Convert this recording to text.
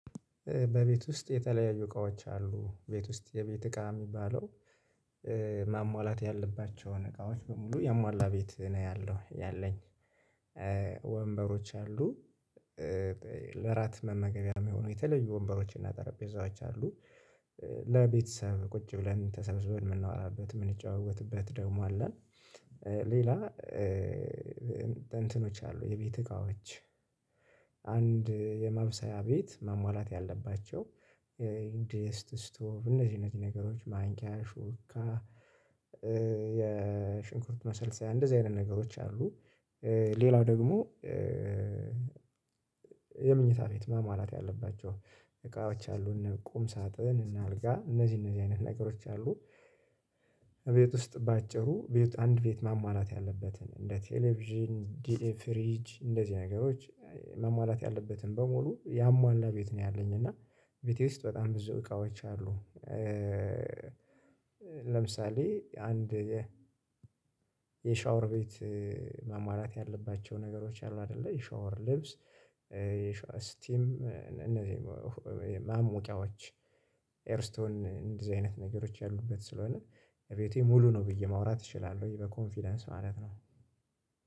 በቤት ውስጥ የተለያዩ እቃዎች አሉ ቤት ውስጥ የቤት እቃ የሚባለው ማሟላት ያለባቸውን እቃዎች በሙሉ ያሟላ ቤት ነው ያለው ያለኝ ወንበሮች አሉ። ለራት መመገብያም የሆኑ የተለዩ ወንበሮችና ጠረጴዛዎች አሉ። ለቤተሰብ ቁጭ ብለን ተሰብስበን የምናወራበት የምንጫወትበት ደግሞ አለን። ሌላ እንትኖች አሉ የቤት እቃዎች አንድ የማብሰያ ቤት ማሟላት ያለባቸው ድስት ስቶቭ እነዚህ እነዚህ ነገሮች ማንኪያ ሹካ የሽንኩርት መሰልሰያ እንደዚህ አይነት ነገሮች አሉ። ሌላው ደግሞ የምኝታ ቤት ማሟላት ያለባቸው እቃዎች አሉ እነ ቁም ሳጥን እና አልጋ እነዚህ እነዚህ አይነት ነገሮች አሉ። ቤት ውስጥ በአጭሩ አንድ ቤት ማሟላት ያለበትን እንደ ቴሌቪዥን እንደ ፍሪጅ እንደዚህ ነገሮች መሟላት ያለበትን በሙሉ ያሟላ ቤት ነው ያለኝ እና ቤቴ ውስጥ በጣም ብዙ እቃዎች አሉ። ለምሳሌ አንድ የ የሻወር ቤት መሟላት ያለባቸው ነገሮች አሉ አይደለ የሻወር ልብስ ስቲም እነዚህ ማሞቂያዎች ኤርስቶን እንደዚህ አይነት ነገሮች ያሉበት ስለሆነ እቤቴ ሙሉ ነው ብዬ ማውራት እችላለሁኝ በኮንፊደንስ ማለት ነው።